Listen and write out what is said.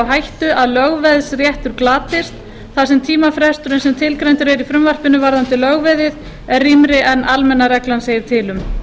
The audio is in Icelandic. á hættu að lögveðsréttur glatist þar sem tímafresturinn sem tilgreindur er í frumvarpinu varðandi lögveðið er rýmri en almenna reglan segir til um